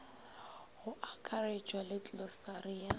go akaretšwa le klosari ya